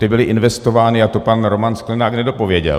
Ty byly investovány a to pan Roman Sklenák nedopověděl.